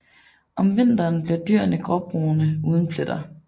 Om vinteren bliver dyrene gråbrune uden pletter